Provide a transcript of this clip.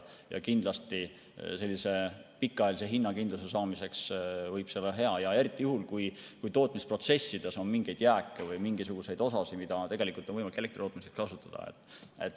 Kindlasti, pikaajalise hinnakindluse saamiseks võib see olla hea ja eriti juhul, kui tootmisprotsessides on mingeid jääke või mingisuguseid osi, mida on võimalik elektri tootmiseks kasutada.